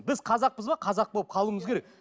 біз қазақпыз ба қазақ болып қалуымыз керек